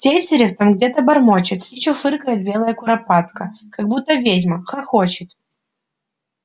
тетерев там где-то бормочет и чуфыкает белая куропатка как будто ведьма хохочет